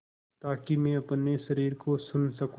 ताकि मैं अपने शरीर को सुन सकूँ